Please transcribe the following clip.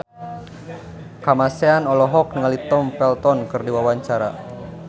Kamasean olohok ningali Tom Felton keur diwawancara